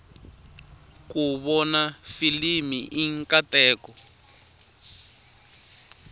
ku vona filimi i nkateko